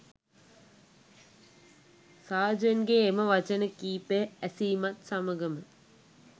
සාජන්ගේ එම වචන කීපය ඇසීමත් සමගම